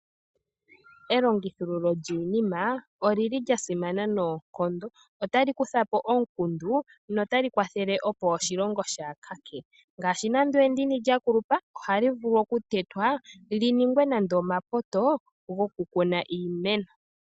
Elongithululo lyiinima oli li lyasimana noonkondo. Otali kutha po omukundu notali kwathele opo oshilongo shaa luudhe. Ngaashi nando endini lya kulupa ohali vulu okutetwa li ningwe nande omapoto gokukuna iimeno.